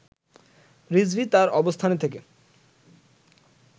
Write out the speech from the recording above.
রিজভী তার অবস্থানে থেকে